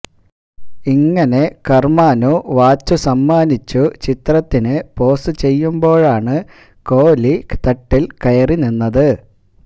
ഇങ്ങനെ കർമാനു വാച്ച് സമ്മാനിച്ചു ചിത്രത്തിനു പോസ് ചെയ്യുമ്പോഴാണ് കോഹ്ലി തട്ടിൽ കയറി നിന്നത്